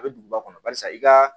A bɛ duguba kɔnɔ barisa i ka